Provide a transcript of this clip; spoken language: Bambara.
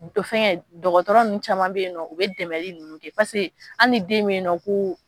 Fɛnkɛ dɔgɔtɔrɔ nunnu caman bɛ yen u bɛ dɛmɛli nunnu kɛ paseke an ni den be yen nɔ ko.